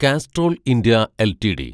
Castrol India LTD